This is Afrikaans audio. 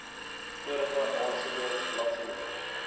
vorige aansoeke bladsynommers